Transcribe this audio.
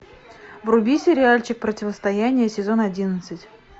вруби сериальчик противостояние сезон одиннадцать